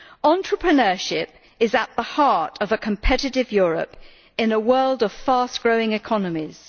Entrepreneurship is at the heart of a competitive Europe in a world of fast growing economies.